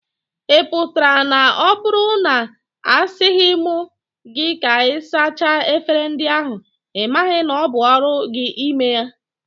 Ị pụtara na ọ bụrụ na a sịghị m gị ka ị sachaa efere ndị ahụ, ị maghị na ọ bụ ọrụ gị ime ya?